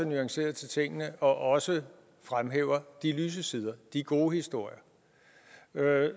nuanceret til tingene og også fremhæver de lyse sider de gode historier